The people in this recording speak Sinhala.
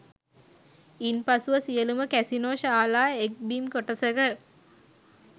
ඉන් පසුව සියලූම කැසිනෝ ශාලා එක් බිම් කොටසක